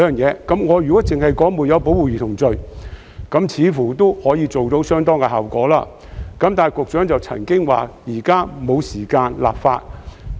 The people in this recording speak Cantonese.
我認為，如能訂立"沒有保護兒童罪"，似乎亦有相當效用，但局長卻表示現在沒有時間立法。